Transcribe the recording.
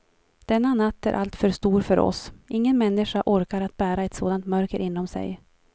Denna natt är alltför stor för oss, ingen människa orkar att bära ett sådant mörker inom sig.